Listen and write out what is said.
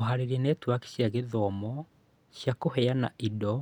Kũhaarĩria netiwaki cia gĩthomo cia kũheana indo